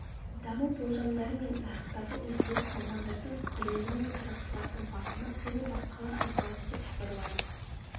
даму болжамдары мен нарықтағы өзгеріс мамандардың пікірлері мен сарапшылардың бағамы және басқалар айтылады деп хабарлады